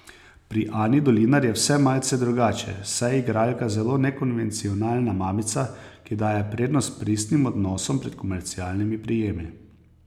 Pri Ani Dolinar je vse malce drugače, saj je igralka zelo nekonvencionalna mamica, ki daje prednost pristnim odnosom pred komercialnimi prijemi.